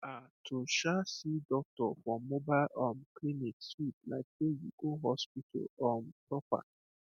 um to um see doctor for mobile um clinic sweet like sey you go hospital um proper